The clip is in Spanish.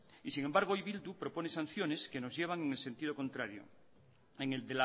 y sin embargo hoy bildu propone sanciones que nos llevan en el sentido contrario en el